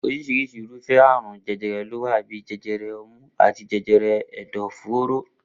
Orísirisi irúfé̩ àrùn je̩je̩re̩ ló wà bíi je̩je̩re̩ o̩mú àti je̩je̩re̩ è̩dò̩-fóró